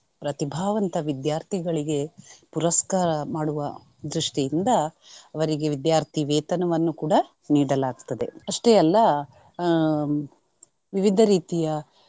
ಪ್ರತಿಭಾವಂತ ವಿದ್ಯಾರ್ಥಿಗಳಿಗೆ ಪುರಸ್ಕಾರ ಮಾಡುವ ದೃಷ್ಟಿಯಿಂದ ಅವರಿಗೆ ವಿದ್ಯಾರ್ಥಿ ವೇತನವನ್ನು ಕೂಡಾ ನೀಡಲಾಗ್ತದೆ. ಅಷ್ಟೇ ಅಲ್ಲಾ ಆಹ್ ವಿವಿಧ ರೀತಿಯ.